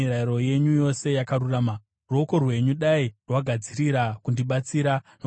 Ruoko rwenyu dai rwagadzirira kundibatsira, nokuti ndakasarudza zvirevo zvenyu.